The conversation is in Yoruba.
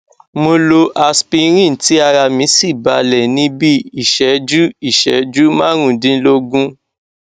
mo lo aspirin tí ara mí sì balẹ ní bí iìṣẹjú iìṣẹjú márùndínlógún